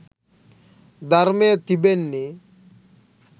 ධර්මය තිබෙන්නේ